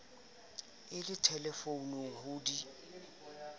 a le thelefounung ho di